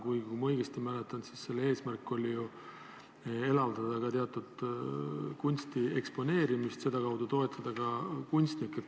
Kuigi, kui ma õigesti mäletan, siis oli ju eesmärk ka elavdada teatud kunsti eksponeerimist ja sedakaudu kunstnikke toetada.